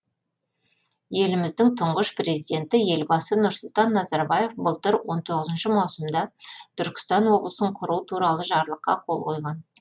еліміздің тұңғыш президенті елбасы нұрсұлтан назарбаев былтыр он тоғызыншы маусымда түркістан облысын құру туралы жарлыққа қол қойған